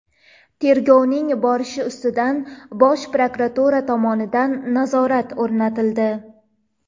Tergovning borishi ustidan Bosh prokuratura tomonidan nazorat o‘rnatildi.